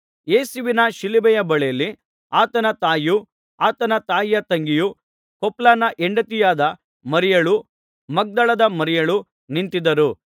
ಯೇಸುವಿನ ಶಿಲುಬೆಯ ಬಳಿಯಲ್ಲಿ ಆತನ ತಾಯಿಯೂ ಆತನ ತಾಯಿಯ ತಂಗಿಯೂ ಕ್ಲೋಪನ ಹೆಂಡತಿಯಾದ ಮರಿಯಳೂ ಮಗ್ದಲದ ಮರಿಯಳೂ ನಿಂತಿದ್ದರು